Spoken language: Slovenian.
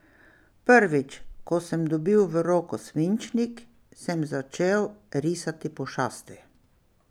Prvič, ko sem dobil v roko svinčnik, sem začel risati pošasti.